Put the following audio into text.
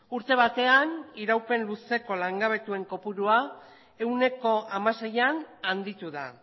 urte batean iraupen luzeko langabetuen kopurua ehuneko hamaseian handitu da